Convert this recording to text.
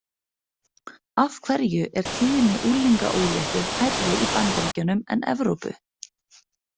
Af hverju er tíðni unglingaóléttu hærri í Bandaríkjunum en Evrópu?